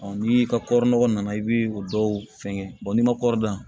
ni i ka kɔri nɔgɔ nana i bi o dɔw fɛngɛ n'i ma kɔɔri dan